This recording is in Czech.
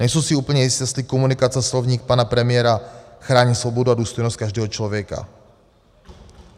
Nejsem si úplně jistý, jestli komunikace slovní pana premiéra chrání svobodu a důstojnost každého člověka.